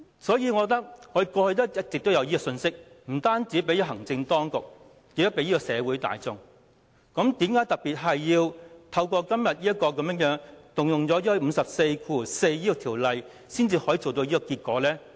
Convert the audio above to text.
我認為，立法會過去一直也有向行政當局及社會大眾發放這樣的信息，為何今天要特別引用第544條才可以達致這樣的效果呢？